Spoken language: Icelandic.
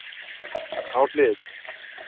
Á hlið